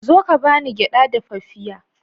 Zo ka ba ni gyaɗa dafaffiya.